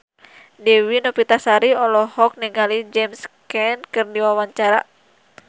Dewi Novitasari olohok ningali James Caan keur diwawancara